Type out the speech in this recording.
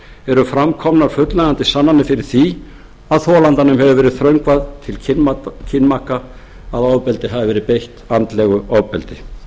eru fram komnar fullnægjandi sannanir fyrir því að þolandanum hafi verið þröngvað til kynmaka að ofbeldi hafi verið beitt andlegu ofbeldi